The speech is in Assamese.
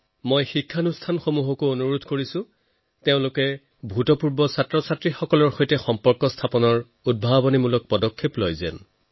মই প্ৰতিষ্ঠানসমূহকো আহ্বান জনাও যে এলুমনাই এংগেজমেণ্টৰ নতুন আৰু ইনভেটিভ প্ৰক্ৰিয়াৰ ওপৰত কাম কৰক